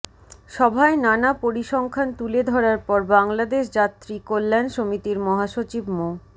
সভায় নানা পরিসংখ্যান তুলে ধরার পর বাংলাদেশ যাত্রী কল্যাণ সমিতির মহাসচিব মো